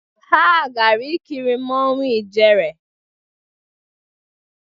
Ha gara ikiri Mmanwu Ijere